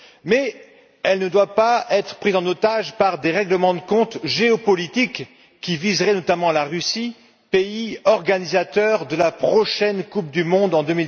Mais elle ne doit pas être prise en otage par des règlements de compte géopolitiques qui viseraient notamment la Russie, pays organisateur de la prochaine Coupe du monde, en